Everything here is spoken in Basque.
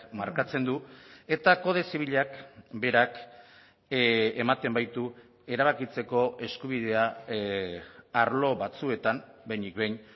markatzen du eta kode zibilak berak ematen baitu erabakitzeko eskubidea arlo batzuetan behinik behin